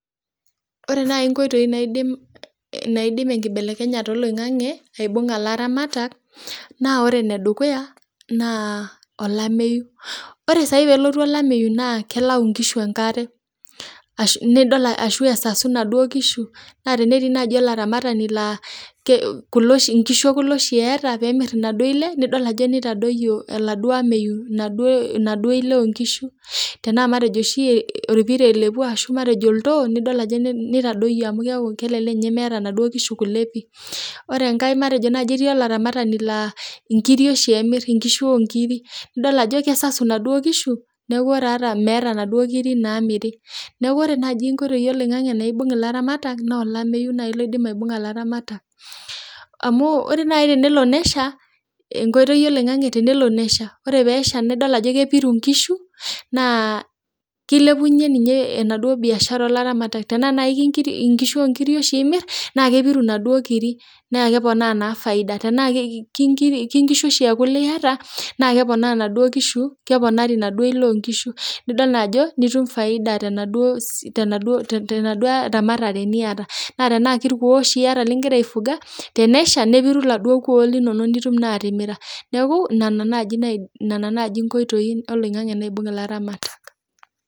Ore nai nkoitoi naidim naidim enkibelekenyata e loing'ang'e aibung'a ilatamatak naa ore nedukuya naa olameiyu, ore saii peelotu olameiyu naa kelau inkishu enkare ashu nidol ashu esasu enaduo inkishu, naa tenetii naaji ilaramatani naa kolo nkishu olo oshi eata peemir enaduo ile nidol ajo neitadoiyo eladuo ameiyu eladuo ile onkishu, tenaa matejo oshi ilpira elepu ashu matejo oltoo nidol ajo neitadoiyo amu keaku kelelek ninye emeeta enaduo inkishu kule pii, ore enkae matejo naaji etii ilaramatani laa inkiri oshi emirr inkiri nidol ajo kesasu enaduo inkishu naaku ore ata meata enaduo nkiri naamiri, naaku ore naaji inkoitoi eloing'ang'e naibung'ie ilaramatak, naa olameiyu naai loidim aibung'a ilaramatak amuu ore nai tenelo nesha, enkoitoi eloing'ang'e tenelo nesha, ore peesha nidol ajo kepiru inkishu naa keilepunye ninye enaduo biashara oo ilaramatak, tanaa noo inkiri, inkishu oo inkiri osho imirr naa kepiru enaduo nkiri, naa keponaa naa efaida tanaa ke inkishu oshi eekule ieata, naa keponaa enaduo nkishu, keponari enaduo ile onkishu, nidol ajo nitum faida tenaduo te ramatare nieta, ata tanaa ilkuo oshi ieta nigira aifuga, nesha nepiru eladuo ilkuoo linono nitum naa atimira, neaku nena naaji naidim nena naaji inkoitoi eloing'ang'e naibung' ilaramatak.